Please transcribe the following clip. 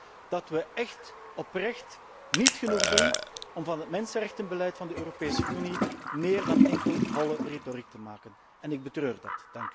Ik denk dat wij echt oprecht niet genoeg doen om van het mensenrechtenbeleid van de Europese Unie meer dan enkel holle retoriek te maken. En ik betreur dat.